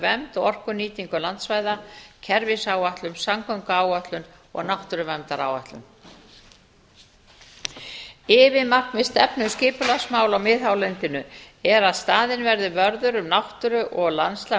vernd og orkunýtingu landsvæða kerfisáætlun samgönguáætlun og náttúruverndaráætlun yfirmarkmið stefnu um skipulagsmál á miðhálendinu er að staðinn verði vörður um náttúru og landslag